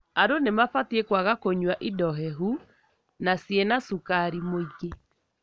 Andũ nĩmabatie kwaga kũnyua indo hehu na cĩina cukari mwingĩ.